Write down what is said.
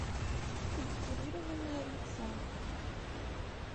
скульптурирование лица